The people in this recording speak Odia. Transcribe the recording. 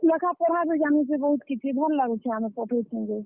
ଲେଖାପଢା ବି ଜାନୁଛେ ବହୁତ୍ କିଛି, ଭଲ୍ ଲାଗୁଛେ ଆମେ ପଠାଉଛୁଁ ଯେ।